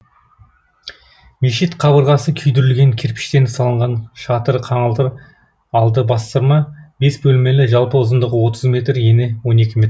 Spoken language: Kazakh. мешіт қабырғасы күйдірілген кірпішпен салынған шатыры қаңылтыр алды бастырма бес бөлмелі жалпы ұзындығы отыз метр ені он екі метр